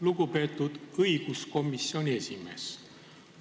Lugupeetud õiguskomisjoni esimees!